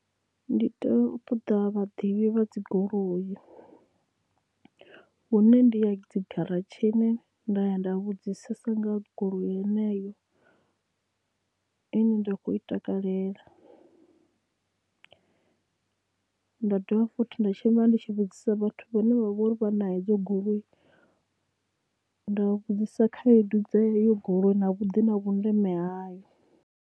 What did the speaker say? Ndi tea u ṱoḓa vhaḓivhi vha dzi goloi vhune ndi ya dzigaratshini nda ya nda vhudzisesa nga goloi yeneyo ane nda khou i takalela nda dovha fothi nda tshimbila ndi tshi vhudzisa vhathu vhane vha uri vha na hedzo goloi nda vhudzisa khaedu dza heyo goloi na vhuḓi na vhundeme hayo.